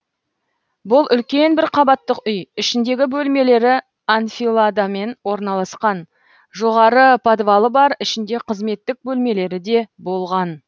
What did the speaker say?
бұл үлкен бір қабаттық үй ішіндегі бөлмелері анфиладамен орналасқан жоғары подвалы бар ішінде қызметтік бөлмелері де болған